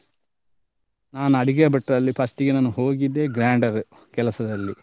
ನಾನ್ ಅಡಿಗೆ ಭಟ್ರಲ್ಲಿ first ಗೆ ನಾನು ಹೋಗಿದ್ದೆ grinder ಕೆಲಸದಲ್ಲಿ.